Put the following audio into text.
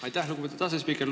Aitäh, lugupeetud asespiiker!